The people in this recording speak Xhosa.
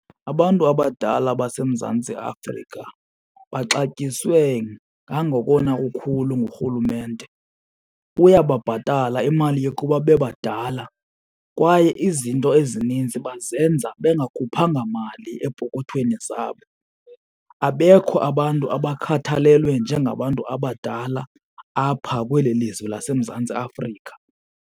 Abantu abadala baseMzantsi Afrika baxatyisiwe ngangokona kukhulu ngurhulumente. Uyababhatala imali yokuba bebadala kwaye izinto ezininzi bazenza bengakhuphanga mali epokothweni zabo. Abekho abantu abakhathalelwe njengabantu abadala apha kweli lizwe laseMzantsi Afrika.